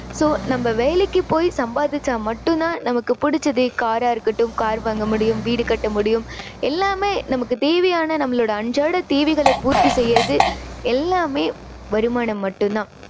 so நம்ப வேலைக்கு போய் சம்பாதிச்சா மட்டும் தான் நமக்கு புடிச்சதை car ரா இருக்கட்டும். car வாங்க முடியும். வீடு கட்ட முடியும். எல்லாமே நமக்கு தேவையான நம்மளோட அன்றாட தேவைகளை பூர்த்தி செய்யுறது எல்லாமே வருமானம் மட்டும் தான்.